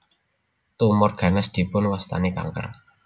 Tumor ganas dipun wastani kanker